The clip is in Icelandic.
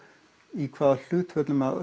í hvaða hlutföllum